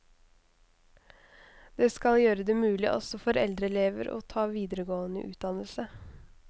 Det skal gjøre det mulig også for eldre elever å ta videregående utdannelse.